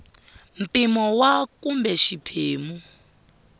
mpimo wa a kumbe xiphemu